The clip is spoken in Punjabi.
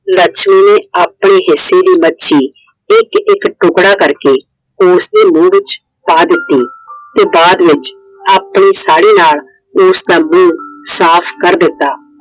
ਲੱਛਮੀ ਨੇ ਆਪਣੇ ਹਿੱਸੇ ਦੀ ਮੱਛੀ ਇੱਕ ਇੱਕ ਟੁਕੜਾ ਕਰਕੇ ਉਸਦੇ ਮੂਹ ਵਿੱਚ ਪਾ ਦਿੱਤੀ। ਤੇ ਬਾਦ ਵਿੱਚ ਆਪਣੀ ਸਾੜੀ ਨਾਲ ਉਸਦਾ ਮੂਹ ਸਾਫ ਕਰ ਦਿੱਤਾ।